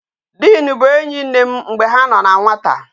Diin bụ enyi nne m mgbe ha no na nwata